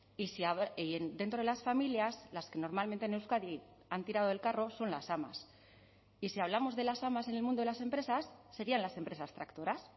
y dentro de las familias las que normalmente en euskadi han tirado del carro son las amas y si hablamos de las amas en el mundo de las empresas serían las empresas tractoras